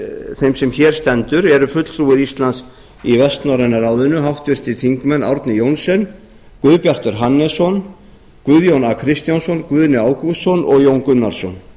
þeim sem hér stendur eru fulltrúar íslands í vestnorræna ráðinu háttvirtur þingmaður árni johnsen guðbjartur hannesson guðjón a kristjánsson guðni ágústsson og jón gunnarsson